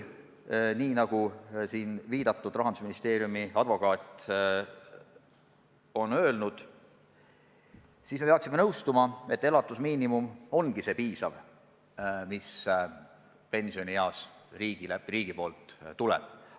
Nagu siin viidatud Rahandusministeeriumi tasustatud advokaat on öelnud, me peaksime lihtsalt nõustuma, et elatusmiinimumist, mis pensionieas riigi poolt tuleb, peabki piisama.